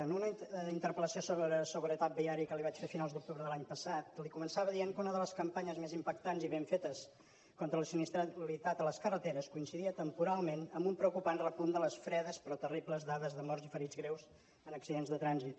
en una interpel·lació sobre seguretat viària que li vaig fer a finals d’octubre de l’any passat li començava dient que una de les campanyes més impactants i ben fetes contra la sinistralitat a les carreteres coincidia temporalment amb un preocupant repunt de les fredes però terribles dades de morts i ferits greus en accidents de trànsit